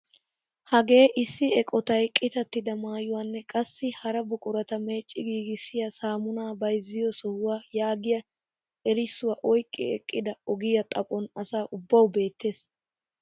Hagee issi eqotay qitattida maayuwaanne qassi hara buqurata meecci giigissiyaa samunaa bayzziyoo sohuwaa yaagiyaa erisuwaa oyqqi eqqida ogiyaa xaphon asa ubbawu beettees.